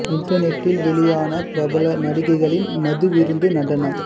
இண்டர்நெட்டில் வெளியான பிரபல நடிகைகளின் மது விருந்து நடனம்